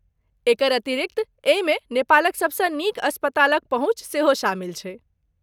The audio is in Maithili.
एकर अतिरिक्त, एहिमे नेपालक सबसँ नीक अस्पतालक पहुँच सेहो शामिल छैक।